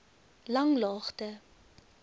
langlaagte